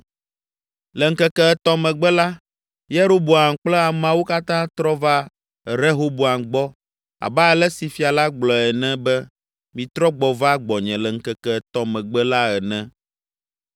Le ŋkeke etɔ̃ megbe la, Yeroboam kple ameawo katã trɔ va Rehoboam gbɔ abe ale si fia la gblɔ ene be, “Mitrɔ gbɔ va gbɔnye le ŋkeke etɔ̃ megbe la ene.”